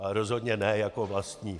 Ale rozhodně ne jako vlastník.